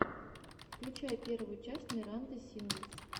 включай первую часть миранды сингс